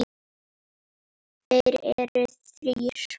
Þeir eru þrír